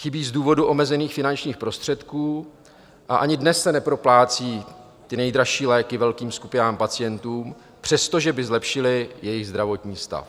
Chybí z důvodu omezených finančních prostředků a ani dnes se neproplácí ty nejdražší léky velkým skupinám pacientů, přestože by zlepšily jejich zdravotní stav.